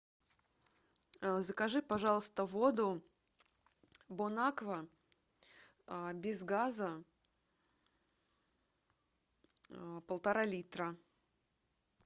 закажи пожалуйста воду бон аква без газа полтора литра